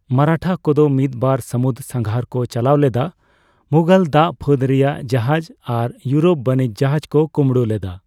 ᱢᱟᱨᱟᱴᱷᱟ ᱠᱚᱫᱚ ᱢᱤᱫ ᱵᱟᱨ ᱥᱟᱹᱢᱩᱫᱽ ᱥᱟᱸᱜᱷᱟᱨ ᱠᱚ ᱪᱟᱞᱟᱣ ᱞᱮᱫᱟ, ᱢᱩᱜᱷᱚᱞ ᱫᱟᱜ ᱯᱷᱟᱹᱫᱽ ᱨᱮᱭᱟᱜ ᱡᱟᱦᱟᱡᱽ ᱟᱨ ᱤᱭᱳᱨᱳᱯ ᱵᱟᱹᱱᱤᱡᱽ ᱡᱟᱦᱟᱡᱽ ᱠᱚ ᱠᱩᱸᱵᱲᱩ ᱞᱮᱫᱟ ᱾